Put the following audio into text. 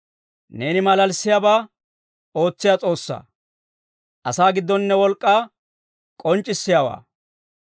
Neeni malalissiyaabaa ootsiyaa S'oossaa. Asaa giddon ne wolk'k'aa k'onc'c'issiyaawaa.